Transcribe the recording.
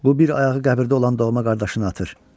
Bu bir ayağı qəbirdə olan doğma qardaşını atır.